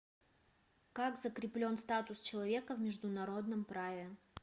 как закреплен статус человека в международном праве